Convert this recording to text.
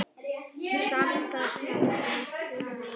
Samt gat það varla verið.